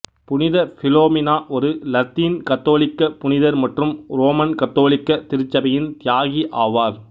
புனித பிலோமினா ஒரு லத்தீன் கத்தோலிக்க புனிதர் மற்றும் உரோமன் கத்தோலிக்க திருச்சபையின் தியாகி ஆவார்